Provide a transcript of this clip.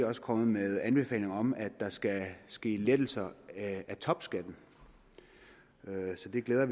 også kommet med anbefalinger om at der skal ske lettelser i topskatten så vi glæder